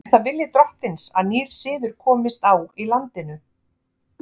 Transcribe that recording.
Er það vilji drottins að nýr siður komist á í landinu?